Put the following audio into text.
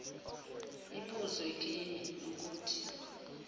ibuzwe kimi nokuthi